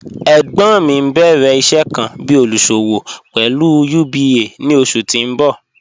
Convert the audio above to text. Ẹgbon mi n bẹ̀rẹ̀ iṣẹ̀ kan bí olúṣọ̀wọ̀ pẹ̀lú UBA ni oṣù tí n bọ̀.